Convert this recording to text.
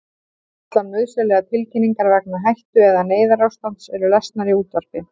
Allar nauðsynlegar tilkynningar vegna hættu- eða neyðarástands eru lesnar í útvarpi.